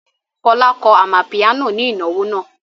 Fọlá kọ amapiano ní ìnáwó náà.